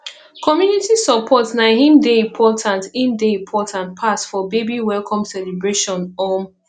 community support na im dey important im dey important pass for baby welcome celebration um